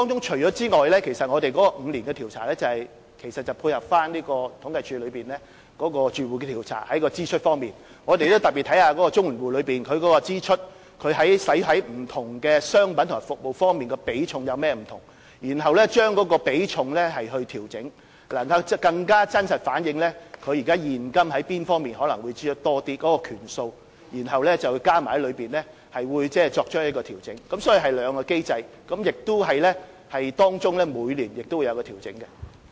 除此以外，每5年進行調查其實是要配合政府統計處對綜援住戶開支統計調查的結果，我們會特別檢視綜援戶用於不同商品及服務方面的支出比重有何不同，然後調整比重，這樣更能真實反映他們現今用在哪方面的支出可能較多的權數，然後加進去作出調整，所以是兩項機制，當中每年亦會作出調整。